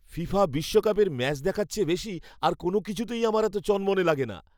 FIFA বিশ্বকাপের match দেখার চেয়ে বেশি আর কোনও কিছুতেই আমার এত চনমনে লাগে না।